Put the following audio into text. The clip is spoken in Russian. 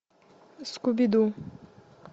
скуби ду